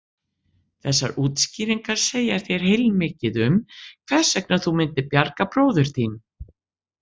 Þessar útskýringar segja þér heilmikið um hvers vegna þú myndir bjarga bróður þínum.